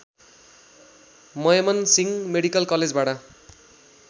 Mymensingh medical कलेजबाट